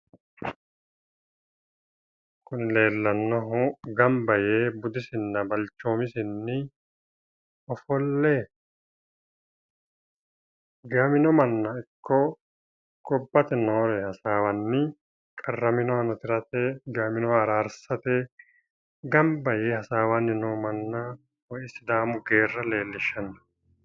kuni leellannohu gamba yee budisinna balchoomisinni ofolle giwamino manna ikko gobbate noore hasaawanni qarraminohano tirate giwaminoha araarsate gamba yee hasaawanni nooha manna woyi sidaamu geerra leellishshanno,